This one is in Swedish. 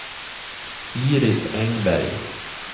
Iris Engberg